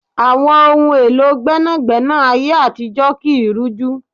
Àwọn ohun èlò gbẹ́nàgbẹ́nà ayé àtijó kii rújú